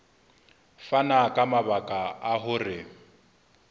fana ka mabaka a hore